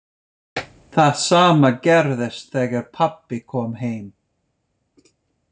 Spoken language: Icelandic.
Það sama gerðist þegar pabbi kom heim.